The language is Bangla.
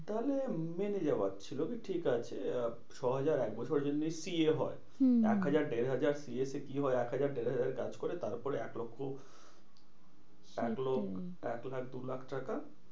তাহলে মেনে যাওয়ার ছিল কি ঠিকাছে আহ ছ হাজার যদি এক বছরের জন্যে PF হয়। হম একহাজার দেড় হাজার যদি PF এ কি হয়? এক হাজার দেড় হাজারে কাজ করে তারপরে এক লক্ষ্য সেটাই এক লক্ষ্য এক লাখ দু লাখ টাকা